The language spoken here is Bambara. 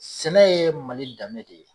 Sɛnɛ ye Mali danbe de ye